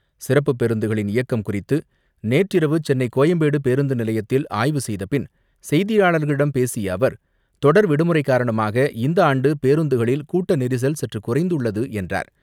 சிறப்பு பேருந்துகளின் இயக்கம் குறித்து நேற்றிரவு சென்னை கோயம்பேடு பேருந்து நிலையத்தில் ஆய்வு செய்தபின் செய்தியாளர்களிடம் பேசிய அவர், தொடர் விடுமுறை காரணமாக இந்த ஆண்டு பேருந்துகளில் கூட்ட நெரிசல் சற்று குறைந்துள்ளது என்றார்.